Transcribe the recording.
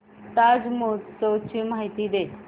ताज महोत्सव ची माहिती दे